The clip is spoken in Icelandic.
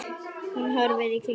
Hún horfir í kringum sig.